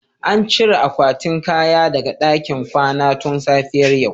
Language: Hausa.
An cire akwatin kaya daga ɗakin kwana tun safiyar yau